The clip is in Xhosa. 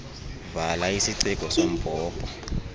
vala isiciko sombhobho